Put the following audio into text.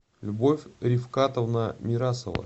любовь рифкатовна мирасова